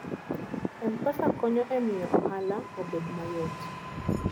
M-Pesa konyo e miyo ohala obed mayot.